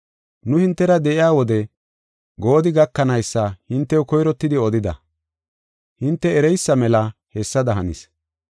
Nu hintera de7iya wode goodi gakanaysa hintew koyrottidi odida. Hinte ereysa mela hessada hanis.